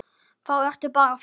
Þá ertu bara farin.